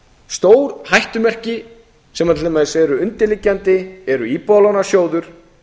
stór hættumerki sem til dæmis eru undirliggjandi eru íbúðalánasjóður